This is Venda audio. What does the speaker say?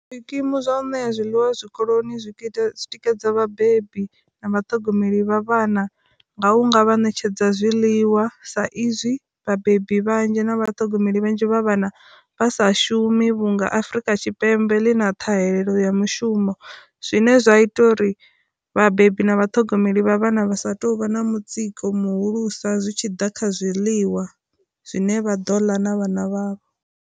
Zwi kimu zwa u ṋea zwi ḽiwa zwi koloni zwi ita zwi tikedza vhabebi na vha thogomeli vha vhana nga hunga vha ṋetshedza zwi ḽiwa sa izwi vhabebi vhanzhi na vha thogomeli vhanzhi vha vhana vha sa shumi vhu nga Afrika Tshipembe ḽi na ṱhahelelo ya mushumo, zwine zwa ita uri vhabebi na vha thogomeli vha vhana vha sa tou vha na mutsiko muhulusa zwi tshi ḓa kha zwiḽiwa zwine vha ḓo ḽa na vhana vhavho.